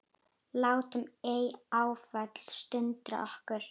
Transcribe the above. Látum ei áföllin sundra okkur.